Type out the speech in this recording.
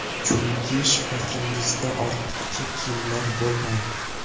Chunki shkafingizda ortiqcha kiyimlar bo‘lmaydi.